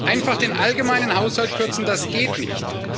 Einfach den allgemeinen Haushalt kürzen, das geht nicht.